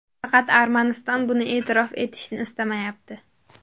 Faqat Armaniston buni e’tirof etishni istamayapti.